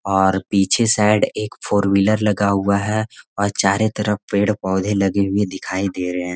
और पीछे साइड एक फोर व्हीलर लगा हुआ है और चारों तरफ पेड़-पौधे लगे हुए दिखाई दे रहे हैं।